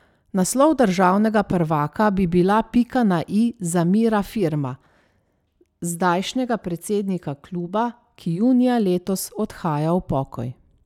Naslov državnega prvaka bi bila pika na i za Mira Firma, zdajšnjega predsednika kluba, ki junija letos odhaja v pokoj.